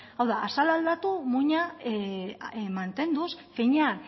hau da azala aldatu muina mantenduz finean